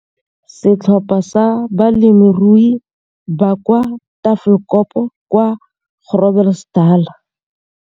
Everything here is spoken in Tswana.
Setlhopha sa balemirui ba kwa Tafelkop kwa Groblersdal,